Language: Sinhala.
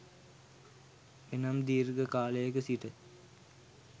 එනම් දීර්ඝ කාලයක සිට